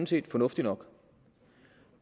set fornuftig nok